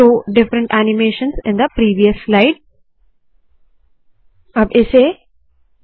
show different animations in the previous slide याने पिछले slide में अलग अलग ऐनीमेशन दिखाए